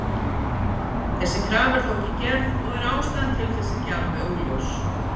Þessi krafa er þó ekki gerð og er ástæðan til þess ekki alveg augljós.